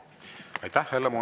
Aitäh!